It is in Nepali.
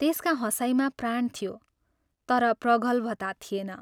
त्यसका हँसाइमा प्राण थियो, तर प्रगल्भता थिएन।